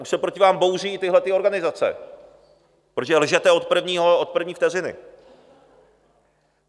Už se proti vám bouří i tyhle organizace, protože lžete od první vteřiny.